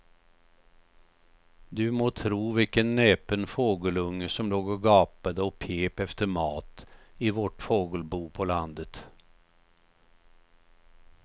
Du må tro vilken näpen fågelunge som låg och gapade och pep efter mat i vårt fågelbo på landet.